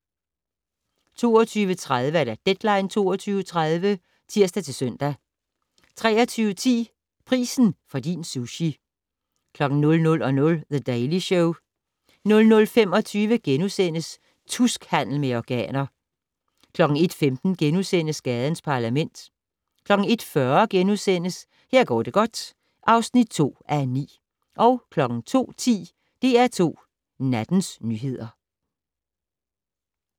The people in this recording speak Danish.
22:30: Deadline 22.30 (tir-søn) 23:10: Prisen for din sushi 00:00: The Daily Show 00:25: Tuskhandel med organer * 01:15: Gadens Parlament * 01:40: Her går det godt (2:9)* 02:10: DR2 Nattens nyheder